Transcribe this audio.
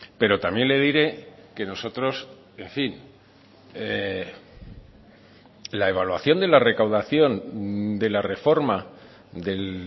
pero también le diré que nosotros en fin la evaluación de la recaudación de la reforma del